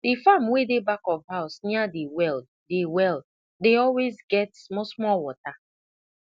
the farm wey dey back of house near the well dey well dey always get smallsmall water